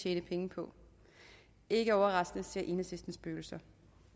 tjene penge på ikke overraskende ser enhedslisten spøgelser